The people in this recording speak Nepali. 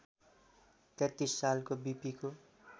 ३३ सालको विपीको